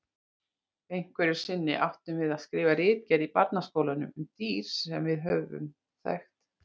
Einhverju sinni áttum við að skrifa ritgerð í barnaskólanum um dýr sem við höfðum þekkt.